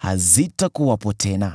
hazitakuwepo tena.”